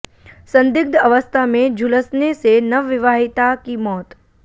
संदिग्ध अवस्था में झुलसने से नवविवाहिता की मौत